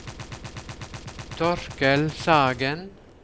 Torkel Sagen